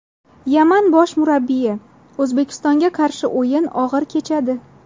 Yaman bosh murabbiyi: O‘zbekistonga qarshi o‘yin og‘ir kechadi.